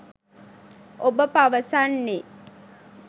ඔබ පවසන්නේ